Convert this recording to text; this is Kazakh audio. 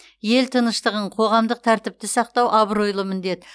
ел тыныштығын қоғамдық тәртіпті сақтау абыройлы міндет